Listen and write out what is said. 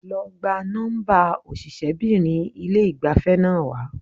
Lọ gba nọ́ḿbà òṣìṣẹ́bìnrin ilé ìgbafẹ́ náà wá.